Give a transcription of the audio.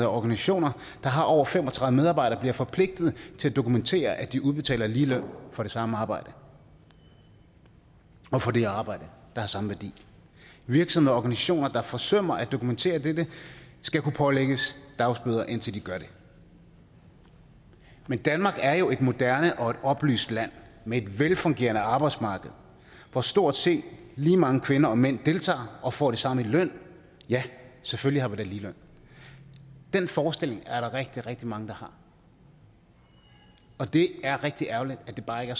og organisationer der har over fem og tredive medarbejdere bliver forpligtet til at dokumentere at de udbetaler lige løn for det samme arbejde og for det arbejde der har samme værdi virksomheder og organisationer der forsømmer at dokumentere dette skal kunne pålægges dagbøder indtil de gør det men danmark er jo et moderne og et oplyst land med et velfungerende arbejdsmarked hvor stort set lige mange kvinder og mænd deltager og får det samme i løn ja selvfølgelig har vi da ligeløn den forestilling er der rigtig rigtig mange der har og det er rigtig ærgerligt at det bare ikke